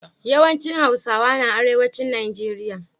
Yawan cin hausawa na arewacin nigeria